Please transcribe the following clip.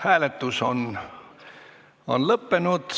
Hääletustulemused Hääletus on lõppenud.